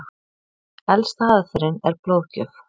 Elsta aðferðin er blóðgjöf.